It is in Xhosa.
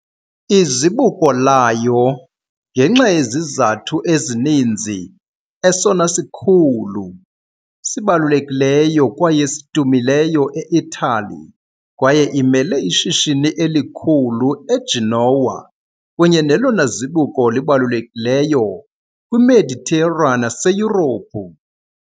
Izibuko layo ngenxa yezizathu ezininzi esona sikhulu, sibalulekileyo kwaye sidumileyo e-Itali kwaye imele ishishini elikhulu eGenoa kunye nelona zibuko libalulekileyo kwiMeditera naseYurophu.